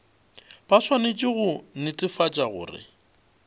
ba swanetše go netefatša gore